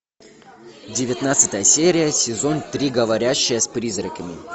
девятнадцатая серия сезон три говорящая с призраками